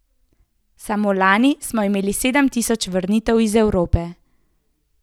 Samo lani smo imeli sedem tisoč vrnitev iz Evrope.